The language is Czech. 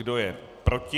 Kdo je proti?